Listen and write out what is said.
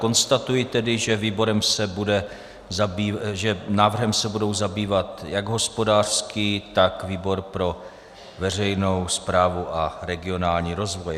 Konstatuji tedy, že návrhem se budou zabývat jak hospodářský, tak výbor pro veřejnou správu a regionální rozvoj.